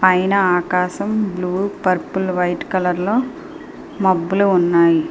పైన ఆకాశం బ్లూ పర్ఫెలో వైట్ కలర్ లో మబ్బులు ఉన్నాయి.